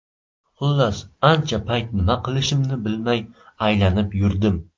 Xullas, ancha payt nima qilishimni bilmay aylanib yurdim.